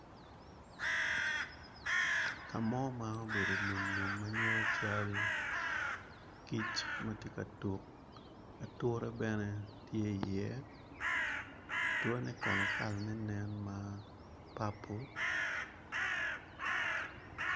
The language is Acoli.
Kamo ma obedo lum lum manen cal kic matye ka tuk ature bene tye i ye ature ne kono kala ne nen ma purple.